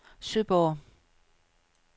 Søborg